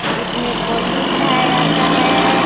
जिसमें कोचिंग पढ़ाया जाता है।